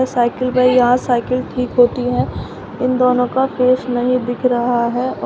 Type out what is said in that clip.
cycle यहां cycle ठीक होती है इन दोनों का फेस नहीं दिख रहा है औ--